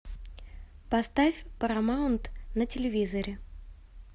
поставь парамаунт на телевизоре